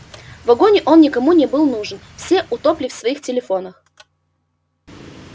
в вагоне он никому не был нужен все утопли в своих телефонах